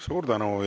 Suur tänu!